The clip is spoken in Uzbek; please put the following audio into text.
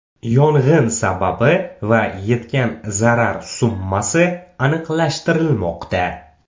Yong‘in sababi va yetgan zarar summasi aniqlashtirilmoqda.